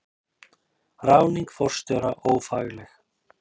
Ráðning forstjóra ófagleg